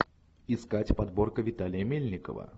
искать подборка виталия мельникова